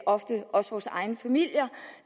ofte også vores egne familier